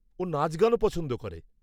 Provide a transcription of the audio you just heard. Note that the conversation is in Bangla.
ও নাচগানও পছন্দ করে।